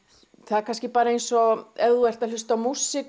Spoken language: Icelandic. er kannski bara eins og ef þú ert að hlusta á músík